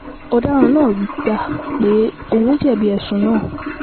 ọ̀daràn náà gbà pé òun jẹ̀bi ẹ̀sùn náà